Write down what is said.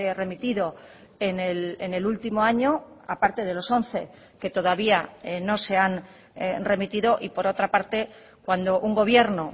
remitido en el último año a parte de los once que todavía no se han remitido y por otra parte cuando un gobierno